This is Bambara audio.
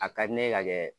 A ka di ne ka kɛ